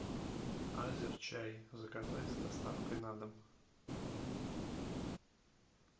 азерчай заказать с доставкой на дом